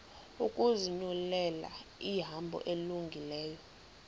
ukuzinyulela ihambo elungileyo